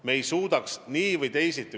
Me ei suudaks seda praegu nii või teisiti teha.